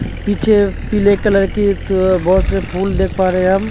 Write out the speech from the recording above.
पीछे पीले कलर के द बोहोत सारे फुल देख पा रहे हम।